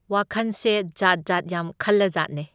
ꯋꯥꯈꯟꯁꯦ ꯖꯥꯠ ꯖꯥꯠ ꯌꯥꯝ ꯈꯜꯂꯖꯥꯠꯅꯦ꯫